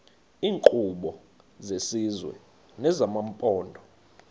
iinkqubo zesizwe nezamaphondo